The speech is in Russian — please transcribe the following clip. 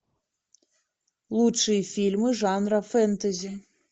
лучшие фильмы жанра фэнтези